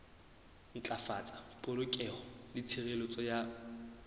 ntlafatsa polokeho le tshireletso ya